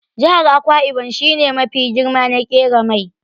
Jihar Akwa ibom shi ne mafi girma na ƙera mai.